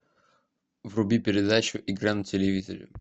вруби передачу игра на телевизоре